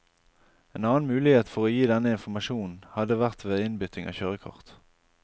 En annen mulighet for å gi denne informasjonen hadde vært ved innbytting av kjørekort.